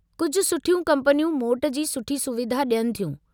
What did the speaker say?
कुझु सुठियूं कम्पनियूं मोट जी सुठी सुविधा ॾियनि थियूं।